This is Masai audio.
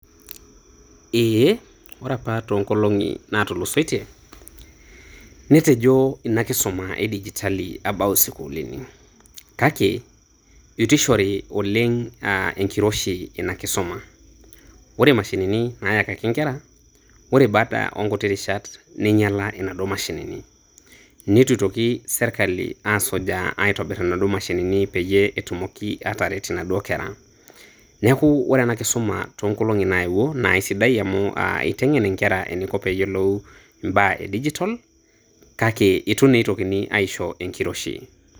Eeeeh. Ore apa toonkolong'i naatulusoitie netejo inakisuma edigitali abau isukuulini kake eitu eishori oleng ina kisuma ore imashinini naayakaki ingera ore baada oonkuti rishat neinyila inaduo mashinini neitu eitoki serkali asujaa Itobir inaduoo mashinini peyie etumoki aataret inaduo kera neeku ore enakisuma toonkolong'i naayewuo naa isidai amu eiteng'en inkera eneiko pee eyiolou imbaa e digital kake eitu naa eitokini aisho enkiroshi.